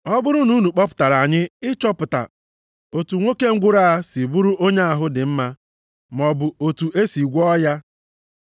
Ọ bụrụ na unu kpọpụtara anyị ịchọpụta otu nwoke ngwụrọ a si bụrụ onye ahụ dị mma maọbụ otu e si gwọọ ya,